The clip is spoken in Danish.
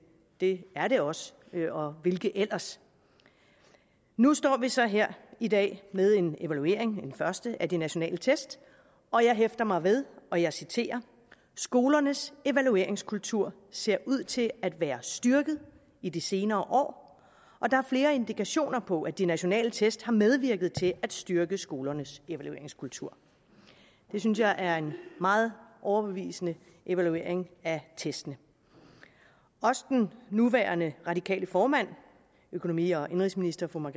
det er det også og hvilke ellers nu står vi så her i dag med en evaluering en første af de nationale test og jeg hæfter mig ved og jeg citerer skolernes evalueringskultur ser ud til at være styrket i de senere år og der er flere indikationer på at de nationale test har medvirket til at styrke skolernes evalueringskultur det synes jeg er en meget overbevisende evaluering af testene også den nuværende radikale formand økonomi og indenrigsministeren